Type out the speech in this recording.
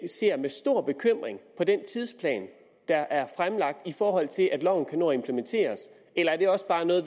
ser med stor bekymring på den tidsplan der er fremlagt i forhold til at loven kan nå implementeret eller er det også bare noget